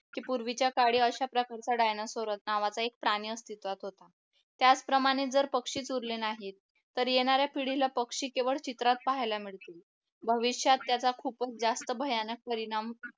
की पूर्वीच्या काळी अशा प्रकारचा डायनासोर नावाचा एक प्राणी अस्तित्वात होता त्याचप्रमाणे जर पक्षीच उरले नाही तर येणाऱ्या पिढीला पक्षी केवळ चित्रात पाहायला मिळतील भविष्यात त्याचा खूपच जास्त भयानक परिणाम